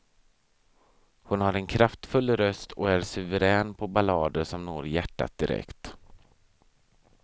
Hon har en kraftfull röst och är suverän på ballader som når hjärtat direkt.